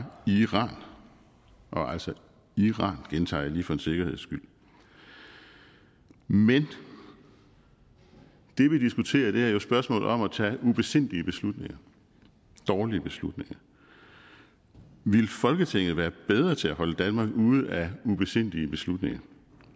iran altså iran gentager jeg lige for en sikkerheds skyld men det vi diskuterer er jo spørgsmålet om at tage ubesindige beslutninger dårlige beslutninger ville folketinget være bedre til at holde danmark ude af ubesindige beslutninger